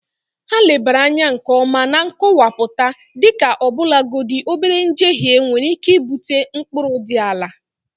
Ha lebara anya nke ọma na nkọwapụta dịka ọbụlagodi obere njehie nwere ike ibute mkpụrụ dị ala..